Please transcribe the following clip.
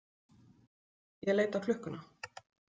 Ég leit á klukkuna.